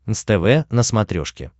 нств на смотрешке